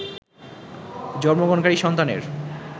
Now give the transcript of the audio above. জন্মগ্রহণকারী সন্তানের